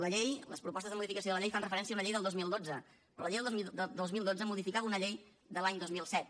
la llei les propostes de modificació de la llei fan referència a una llei del dos mil dotze però la llei del dos mil dotze modificava una llei de l’any dos mil set